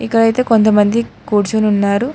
ఇక్కడ అయితే కొంతమంది కూర్చొని ఉన్నారు.